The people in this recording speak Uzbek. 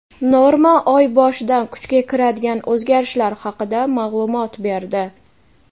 "Norma" oy boshidan kuchga kiradigan o‘zgarishlar haqida ma’lumot berdi.